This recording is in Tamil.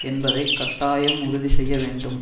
என்பதை கட்டாயம் உறுதி செய்ய வேண்டும்